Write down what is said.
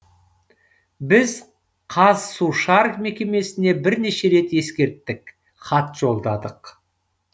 біз қазсушар мекемесіне бірнеше рет ескерттік хат жолдадық